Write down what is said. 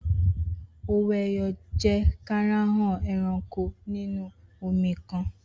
Owó-ẹyọ jẹ́ karahun ẹranko inú omi kan.